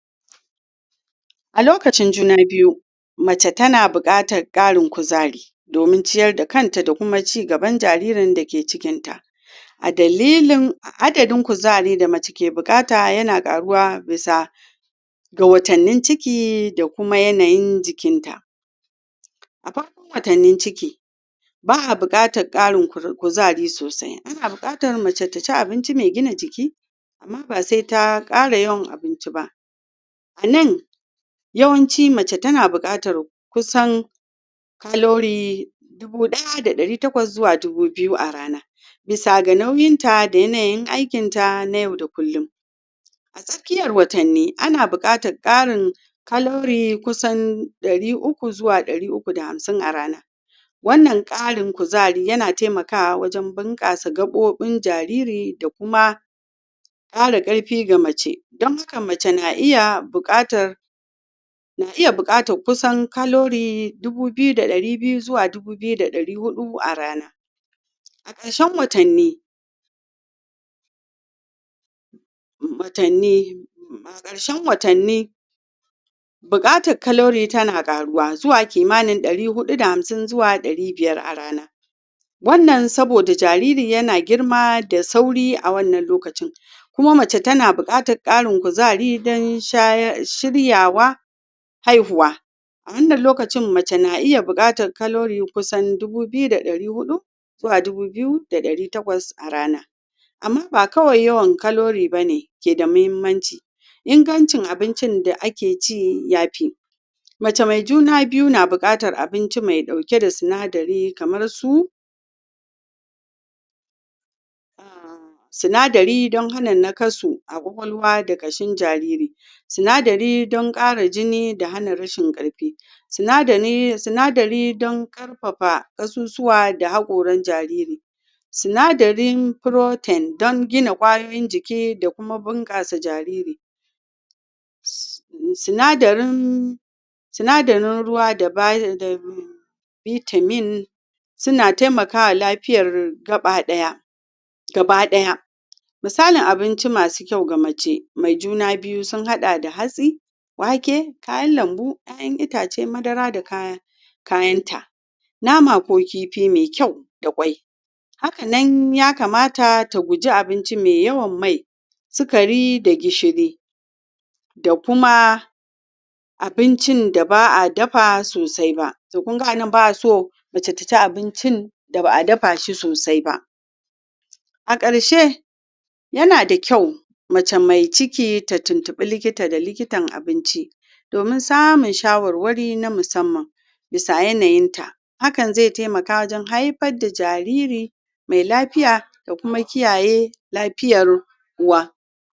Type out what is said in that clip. a lokacin juna biyu mace ta na bukatan karin kuzari dominciyar da kan ta da kuma cin gaban jaririn da ke cikin ta a dalilin adadin kuzari da mace ke bukata har yana karuwa bisa ga watani ciki da kuma yanayin jikin ta a watanni ciki ba'a bukatan karin kuzari sosai ana bukata mace ta ci abinci mai gina jiki amma ba sai ta kara yawan abinci ba nan yawanci mace tana bukata calorie dubu daya da dari takwas zuwa dubu biyu [1800-2000] a rana bisa ga nauyin ta da yanayin aikin ta na yau da kulun a tsakiyar watanni ana bukatan karin calorie kusan dari uku zuwa dari uku da hamsin [300-350] a rana wannan karin kuzari yana taimakawa wajen bunkasa gabobin jariri da kuma kara karfi ga mace dan haka mace na iya bukata na iya bukatan kusan calorie dubu biyu da dari biyu zuwa dubu biyu da dari hudu a rana a karshen watani watani a karshen watani bukatar calorie suna karuwa zuwa kimanin dari hudu da hamsin zuwa dari biyar a rana wannan soboda jariri yana girma da sauri a wannan lokaci kuma mace ta na bukatan kuzari dan shiryawa haihuwa a wannan lokacin mace na iya bukata calorie kusan dubu biyu da dari hudu zuwa dubu biyu da dari takwas a rana amma ba kawai yawan calorie bane ke da muhimmanci ingancin abincin da ake ci ya fi mace mai juna biyu na bukatar abinci mai dauke da sinadiri kamar su sinadiri dan hana nakasu a kwakwalwa da kashin jariri sinadiri dan hana jini da rashin karfi sinadiri dan karfafa kasusuwa da hakoran jariri sinadirin protein dan gina kwayoyin jiki da kuma bunkasa jariri sinadirin ruwa da vitamin suna taimakawa lafiyar gabadaya gabadaya misali abinci masu kyau ga mace mai juna biyu sun hada da hatsi wake, kayanlambu, kayan itace madara da kaya kayan ta nama ko kifi mai kyau da kwai hakanan ya kamata ta guji abinci me yawan mai, sukari da gishiri da kuma abincin da ba'a dafa sosai ba kun ga anan ba'a so mace ta ci abincin da ba a dafa shi sosai ba a karshe yana da kyau mace mai ciki ta tintibi likita da likitan abinci domin samun shawarwari na musamman bisa yanayin ta hakan zai taimaka wajen haifa da jariri mai lafiya da kuma kiyaye lafiyar uwa